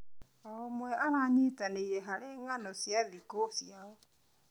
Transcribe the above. O ũmwe aranyitanĩra harĩ ng'ano cia thikũ ciao.